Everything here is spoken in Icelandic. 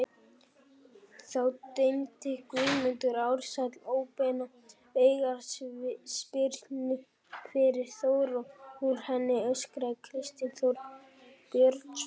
Þá dæmdi Guðmundur Ársæll óbeina aukaspyrnu fyrir Þór og úr henni skoraði Kristinn Þór Björnsson.